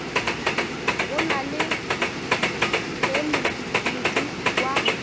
gona le ge modu wa